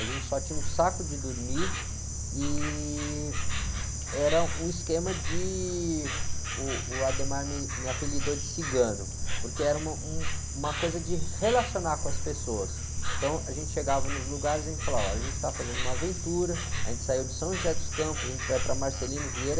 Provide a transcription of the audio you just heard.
a gente só tinha um saco de dormir e era um esquema de, uh, o me, me apelidou de cigano, porque era um, uma coisa de relacionar com as pessoas, então a gente chegava nos lugares e a gente falava, ó, a gente está fazendo uma aventura, a gente saiu de São José dos Campos, a gente vai para Marcelino Vieira,